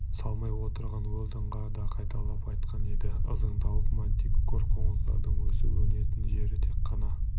салмай отырған уэлдонға да қайталап айтқан еді ызыңдауық мантикор қоңыздардың өсіп-өнетін жері тек қана